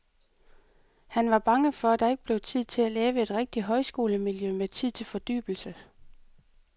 Han var bange for, at der ikke blev tid til at lave et rigtigt højskolemiljø med tid til fordybelse.